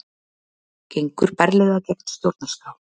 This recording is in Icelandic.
Gengur berlega gegn stjórnarskrá